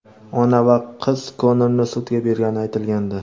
ona va qiz Konorni sudga bergani aytilgandi.